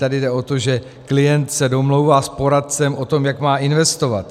Tady jde o to, že klient se domlouvá s poradcem o tom, jak má investovat.